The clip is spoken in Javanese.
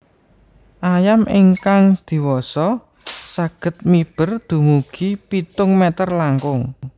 Ayam ingkang diwasa saged miber dumugi pitung mèter langkung